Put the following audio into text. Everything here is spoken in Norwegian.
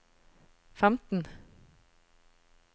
femten